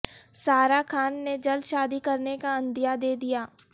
سارہ خان نے جلد شادی کرنے کا عندیہ دے دیا